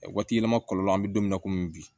Waati yɛlɛma kɔlɔlɔ an be don min na komi bi